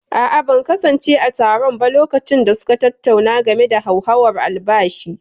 a'a, ban kasance a taron ba lokacin da suka tattauna game da hauhawar albashi